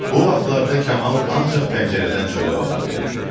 Bu vaxtlarda Kamal ancaq pəncərədən çölə baxa bilirdi.